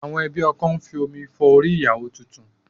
Àwọn ẹbí ọkọ ń fi omi fọ orí ìyàwó tuntun